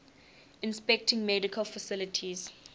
inspecting medical facilities